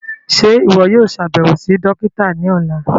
Ṣe iwọ yóò ṣabẹwo si dokita ni ọla?